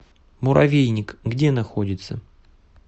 муравейник где находится